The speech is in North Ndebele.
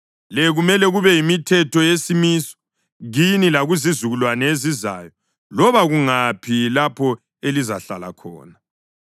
Le kumele kube yimithetho yesimiso kini lakuzizukulwane ezizayo, loba kungaphi lapho elizahlala khona.